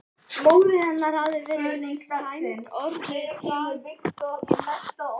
Móðir hennar hafði verið sæmd orðu daginn sem sagan gerist.